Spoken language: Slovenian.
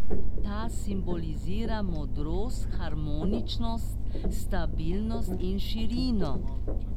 Ta simbolizira modrost, harmoničnost, stabilnost in širino.